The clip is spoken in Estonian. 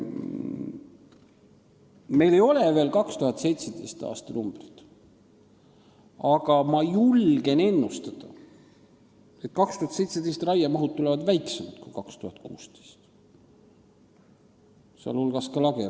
Meil ei ole veel 2017. aasta andmeid, aga ma julgen ennustada, et 2017. aasta raiemahud tulevad väiksemad kui 2016. aasta omad, sh lageraie.